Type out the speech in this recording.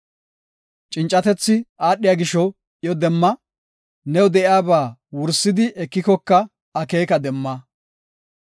Cincatethi aadhiya gisho iyo demma; new de7iyaba wursidi ekikoka akeeka demma.